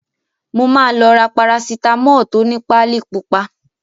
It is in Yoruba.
Mo máa lọ ra Parasitamọ́ọ̀ tó ni páálí pupa.